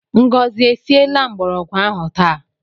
Ngọzi e siela mgbọrọgwụ ahụ taa?